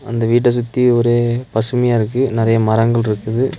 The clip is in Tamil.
அந்த வீட்ட சுத்தி ஒரே பசுமையா இருக்கு நறையா மரங்கள்ருக்குது.